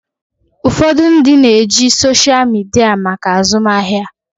Ụfọdụ ndị na-eji soshal midia maka azụmahịa.